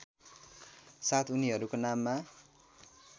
साथ उनीहरूको नाममा